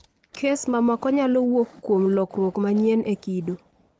Kes mamoko nyalo wuok kuom lokruok manyien e kido